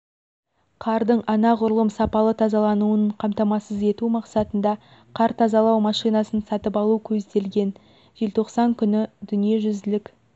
қардың анағұрлым сапалы тазалануын қамтамасыз ету мақсатында қар тазалау машинасын сатып алу көзделген желтоқсан күні дүниежүзілік